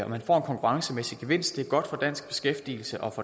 man får en konkurrencemæssig gevinst er godt for dansk beskæftigelse og